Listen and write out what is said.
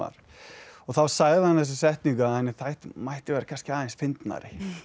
og þá sagði hann þessa setningu að hún mætti vera kannski aðeins fyndnari